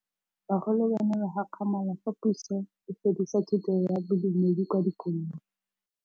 Bagolo ba ne ba gakgamala fa Pusô e fedisa thutô ya Bodumedi kwa dikolong.